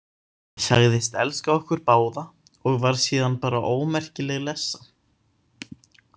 Sagðist elska okkur báða og var síðan bara ómerkileg lessa.